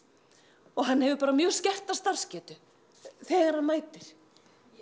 og hann hefur bara mjög skerta starfsgetu þegar hann mætir